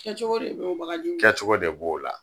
Kɛcogo de be o bagaji kɛcogo de b'o la.